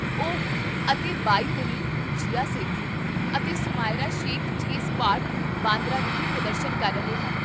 ਓ, ਅਤੇ ਬਾਈ ਤਰੀਕ ਨੂੰ, ਜੀਆ ਸੇਠੀ ਅਤੇ ਸੁਮਾਇਰਾ ਸ਼ੇਖ ਜੇ ਸਪਾਟ, ਬਾਂਦਰਾ ਵਿਖੇ ਪ੍ਰਦਰਸ਼ਨ ਕਰ ਰਹੇ ਹਨ